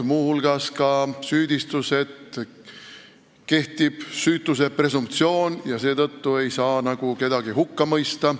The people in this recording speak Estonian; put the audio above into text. Muu hulgas on kõlanud ka, et meil kehtib süütuse presumptsioon ja seetõttu ei saa nagu kedagi hukka mõista.